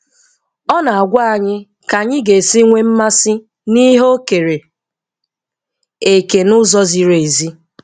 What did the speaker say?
Ọ na-agwa anyị ka anyị ga-esi nwee mmasị n'ihe O kere eke n'ụzọ ziri ezi.